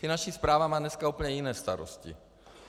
Finanční správa má dneska úplně jiné starosti.